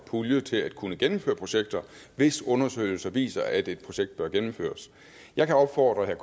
pulje til at kunne gennemføre projekter hvis undersøgelser viser at et projekt bør gennemføres jeg kan opfordre herre